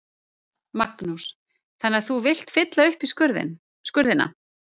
Magnús: Þannig að þú vilt fylla upp í skurðina?